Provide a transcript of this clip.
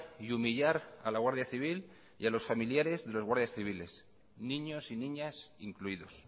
y humillar a la guardia civil y a los familiares de los guardias civiles niños y niñas incluidos